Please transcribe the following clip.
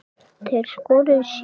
Þeir skoruðu sjö mörk hvor.